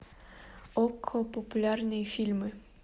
окко популярные фильмы